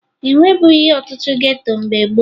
E nwebughi ọtụtụ geto mgbe gboo